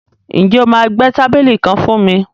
Ǹjẹ́ o máa gbẹ́ tábìlì kan fún mi?